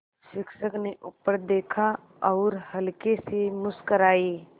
शिक्षक ने ऊपर देखा और हल्के से मुस्कराये